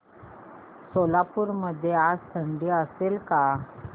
सोलापूर मध्ये आज थंडी असेल का